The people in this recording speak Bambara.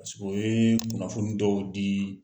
u yee kunnafoni dɔw dii